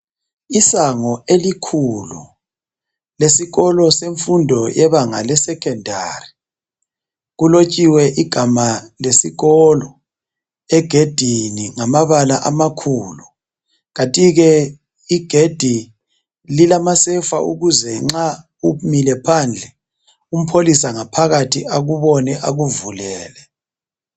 Isango elikhulu lesikolo semfundo lebanga le sekhondari. Kulotshiwe igama lesikolo egedini ngamabala amakhulu, kanti-ke igedi lilama sefa ukuthi nxa umile ngaphandle umpholisa akubone akuvulele.